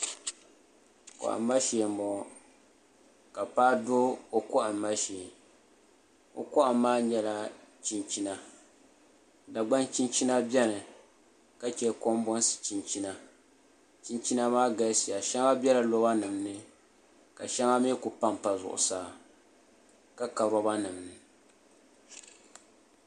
Kohamaa shee n boŋo ka paɣa do o kohamma shee o kohamma maa nyɛla chinchina dagban chinchina biɛni ka chɛ kanbonsi chinchina chinchina maa galisiya shɛŋa biɛla roba nim ni ka shɛŋa mii ku panpa zuɣusaa ka ka roba nim ni